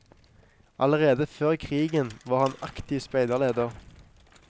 Allerede før krigen var han aktiv speiderleder.